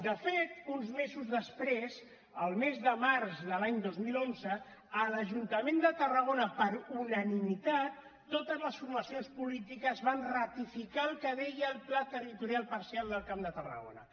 de fet uns mesos després el mes de març de l’any dos mil onze a l’ajuntament de tarragona per unanimitat totes les formacions polítiques van ratificar el que deia el pla territorial parcial del camp de tarragona